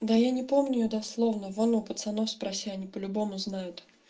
да я не помню дословно вон у пацанов спроси они по-любому знает